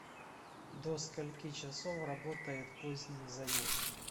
до скольки часов работает поздний заезд